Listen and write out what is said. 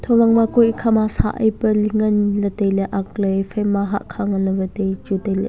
huwang ma kue ikha ma sah ai pe ling ngan ley tailey akle ephai ma hahkha nganle wai tai chu tailey.